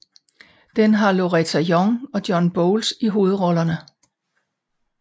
Den har Loretta Young og John Boles i hovedrollerne